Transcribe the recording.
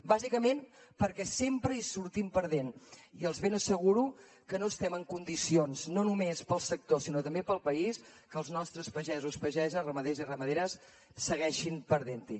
bàsicament perquè sempre hi sortim perdent i els ben asseguro que no estem en condicions no només pel sector sinó també pel país que els nostres pagesos pageses ramaders i ramaderes segueixin perdent hi